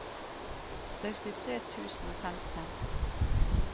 sekstitre tusen og femten